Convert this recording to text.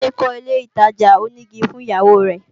Gbade kọ́ ilé ìtajà onígi fún ìyàwó rẹ